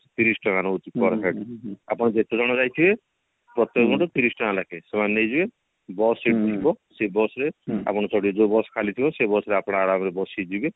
ତିରିଶି ଟଙ୍କା ନଉଛି per head ଆଉ ତମେ ଯେତେଜଣ ଯାଇଥିବେ ପ୍ରତ୍ୟକ ଜଣକୁ ତିରିଶି ଟଙ୍କା ଲେଖେ ସେମାନେ ନେଇଯିବେ bus ସେଇଠି ଥିବ ସେ bus ରେ ଆପଣ ସେଇଠି ଯୋଉ bus ଖାଲି ଥିବ ସେଇ bus ରେ ଆପଣ ଅରମରେ ବସି କି ଯିବେ